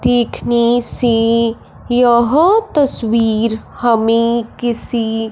देखने से यह तस्वीर हमें किसी --